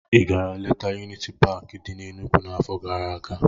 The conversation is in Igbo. Ị gara letaa Yuniti Paakị dị n'Enugwu n'afọ gara aga?